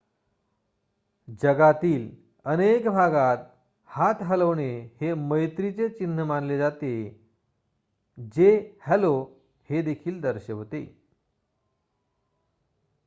जगातील अनेक भागात हात हलवणे हे मैत्रीचे चिन्ह मानले जाते जे हॅलो हे दर्शवते